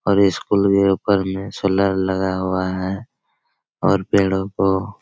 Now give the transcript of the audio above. और ये स्कूल के ऊपर में सोलर लगा हुआ है और पेड़ों को --